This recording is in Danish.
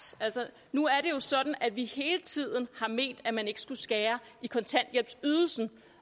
nu er det jo sådan at vi hele tiden har ment at man ikke skulle skære i kontanthjælpsydelsen